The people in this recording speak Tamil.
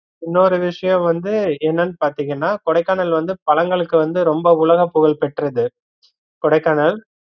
இன்னொரு விஷயம் வந்து என்னனு பாத்தீங்கன்னா கொடைக்கானல் வந்து பழங்களுக்கு வந்து ரொம்ப உலக புகழ் பெற்றது கொடைக்கானல்